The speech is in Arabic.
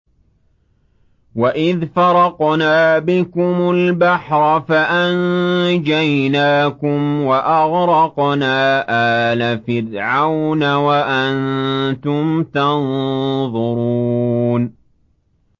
وَإِذْ فَرَقْنَا بِكُمُ الْبَحْرَ فَأَنجَيْنَاكُمْ وَأَغْرَقْنَا آلَ فِرْعَوْنَ وَأَنتُمْ تَنظُرُونَ